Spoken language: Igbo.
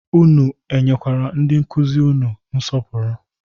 Unu nyekwara ndị nkụzi unu nsọpụrụ?